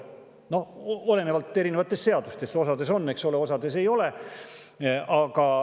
See oleneb erinevatest seadustest, osas on, osas ei ole.